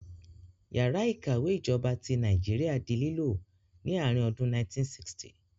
Yàrá ìkàwé ìjọba ti Nàìjíríà di lílò ní àárín ọdún 1960